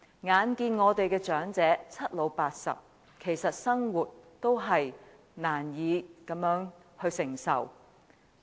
眼看我們的長者已屆暮年，其實生活也是難以承受。